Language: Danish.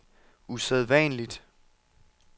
usædvanligt